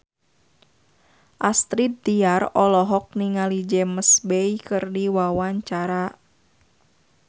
Astrid Tiar olohok ningali James Bay keur diwawancara